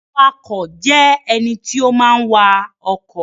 Awakọ̀ jẹ́ ènìyàn tí ó máa ń wa ọkọ̀